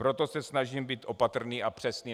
Proto se snažím být opatrný a přesný.